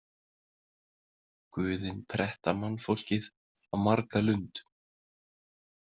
Guðin pretta mannfólkið á marga lund.